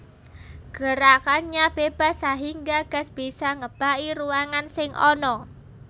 Gerakannya bebas sahingga gas bisa ngebaki ruangan sing ana